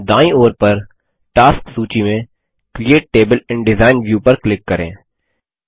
दायीं ओर पर टास्क सूची में create table in design view पर क्लिक करें